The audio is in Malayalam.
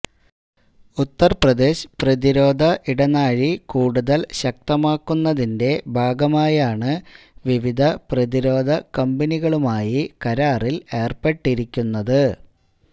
ഉത്തർപ്രദേശ് പ്രതിരോധ ഇടനാഴി കൂടുതൽ ശക്തമാക്കുന്നതിന്റെ ഭാഗമായാണ് വിവിധ പ്രതിരോധ കമ്പനികളുമായി കരാറിൽ ഏർപ്പെട്ടിരിക്കുന്നത്